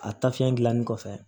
A tafiɲɛ gilannen kɔfɛ